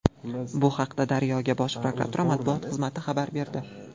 Bu haqda Daryo”ga Bosh prokuratura matbuot xizmati xabar berdi.